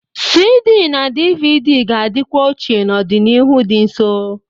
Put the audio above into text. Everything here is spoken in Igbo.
CD na DVD ga-adịkwa ochie n'ọdịnihu dị nso